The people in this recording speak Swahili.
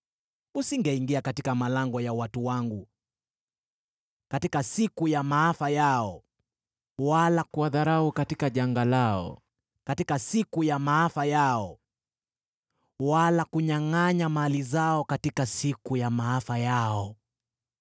Usingeingia katika malango ya watu wangu katika siku ya maafa yao, wala kuwadharau katika janga lao katika siku ya maafa yao, wala kunyangʼanya mali zao katika siku ya maafa yao.